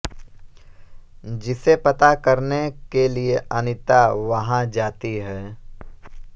जिसे पता करने के लिए अनीता वहाँ जाती है